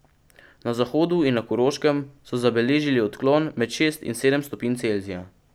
Na zahodu in na Koroškem so zabeležili odklon med šest in sedem stopinj Celzija.